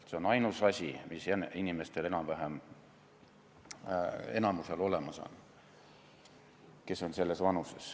Aga see on ainus asi, mis enamikul inimestel, kes on teatud vanuses, olemas on.